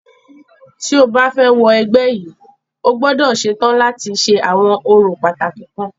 Tí o bá fẹ́ wọ ẹgbẹ́ yìí,o gbọ́dọ̀ ṣetán láti ṣe àwọn orò pàtàkì kan.